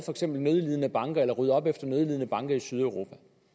nødlidende banker eller rydde op efter nødlidende banker i sydeuropa